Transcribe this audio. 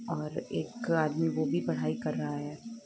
और एक आदमी वो भी पढ़ाई कर रहा है।